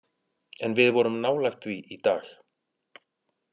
En við vorum nálægt því í dag.